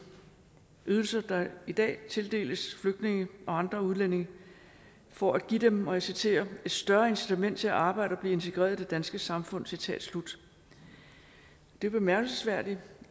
ydelser der i dag tildeles flygtninge og andre udlændinge for at give dem og jeg citerer et større incitament til at arbejde og blive integreret i det danske samfund citat slut det er bemærkelsesværdigt